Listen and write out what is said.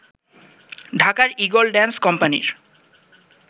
ঢাকার eagle dance কোম্পানির